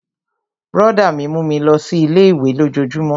Brọ̀dá mi mú mi lọ sí ilé-ìwé lójojúmó